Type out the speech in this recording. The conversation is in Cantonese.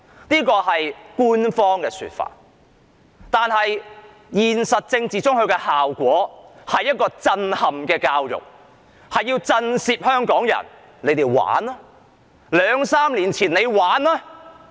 這是官方的說法，但現實中的政治效果，是震撼教育，目的是要震懾香港人："你們玩吧，兩三年前你們玩吧！